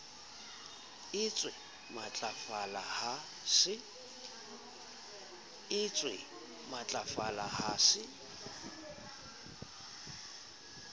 e ntsee matlafala ha se